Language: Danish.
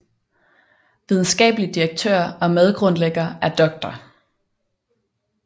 Videnskabelig direktør og medgrundlægger er Dr